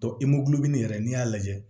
yɛrɛ n'i y'a lajɛ